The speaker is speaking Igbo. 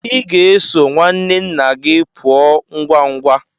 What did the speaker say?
Ị ga-eso nwanne nna gị pụọ ngwa ngwa.